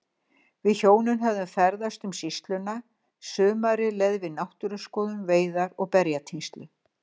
Við hjónin höfðum ferðast um sýsluna, sumarið leið við náttúruskoðun, veiðar og berjatínslu.